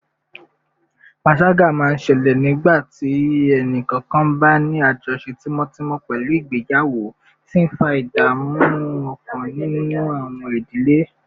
panṣaga máa ń ṣẹlẹ̀ nígbà tí ẹnì kọ̀ọ̀kan bá ní àjọṣe tímọ́tímọ́ pẹ̀lú ìgbéyàwó, tí ń fa ìdààmú ọkàn nínú àwọn ìdílé